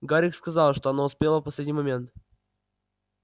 гарик сказал что она успела в последний момент